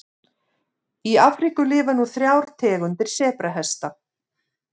Í Afríku lifa nú þrjár tegundir sebrahesta.